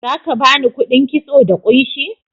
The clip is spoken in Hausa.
Za ka ba ni kuɗin kitso da kunshi?